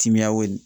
Timiyaw